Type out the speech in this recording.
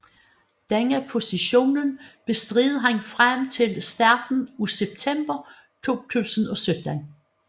Denne position bestred han frem til starten af september 2017